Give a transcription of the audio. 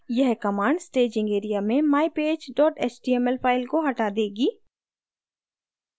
यह command staging area में mypage html file को हटा देगी